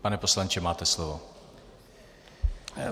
Pane poslanče, máte slovo.